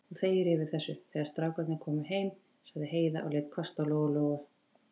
Þú þegir yfir þessu, þegar strákarnir koma heim, sagði Heiða og leit hvasst á Lóu-Lóu.